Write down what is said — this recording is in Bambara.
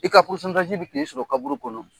I ka bɛn'o sɔrɔ kaburu kɔnɔ.